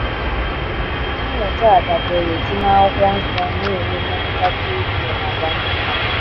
Mmụta a dabeere si na akwụkwo nsọ na - enwe mmetụta dị ukwuu n’àgwà ndị mmadụ.